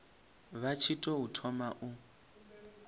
vha tshi tou thoma u